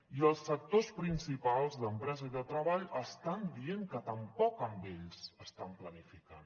i els sectors principals d’empresa i de treball estan dient que tampoc amb ells estan planificant